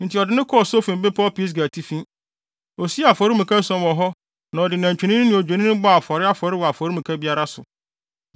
Enti ɔde no kɔɔ Sofim bepɔw Pisga atifi. Osii afɔremuka ason wɔ hɔ na ɔde nantwinini ne odwennini bɔɔ afɔre afɔre wɔ afɔremuka biara so.